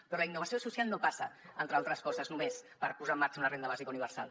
però la innovació social no passa entre altres coses només per posar en marxa una renda bàsica universal